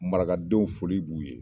Marakadenw foli b'u ye.